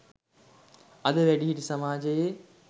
අද වැඩිහිටි සමාජයේ